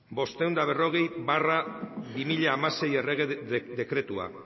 bostehun eta berrogei barra bi mila hamasei errege dekretua